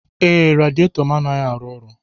Ee, radiator m anaghị arụ ọrụ.